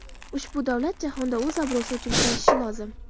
Ushbu davlat jahonda o‘z obro‘si uchun kurashishi lozim.